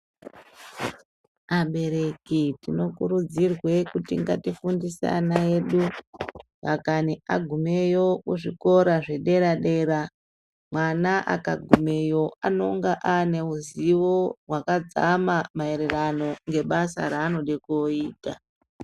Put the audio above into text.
Abereki tinokurudzirwe kuti ngatifundise ana edu dakani agumeyo kuzvikora zvedera-dera. Mwana akagumeyo anonga aane ruzivo rwakadzama maererano nebasa raanode kooita.